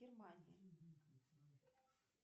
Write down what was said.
германия